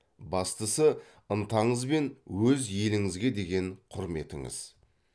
бастысы ынтаңыз мен өз еліңізге деген құрметіңіз